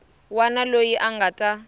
wana loyi a nga ta